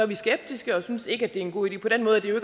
vi skeptiske og synes ikke det er en god idé på den måde er det jo